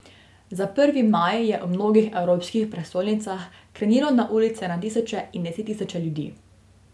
Za prvi maj je v mnogih evropskih prestolnicah krenilo na ulice na tisoče in desettisoče ljudi.